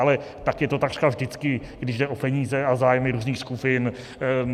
Ale tak je to takřka vždycky, když jde o peníze a zájmy různých skupin.